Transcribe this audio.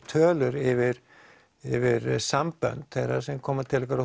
tölur yfir yfir sambönd þeirra sem koma til okkar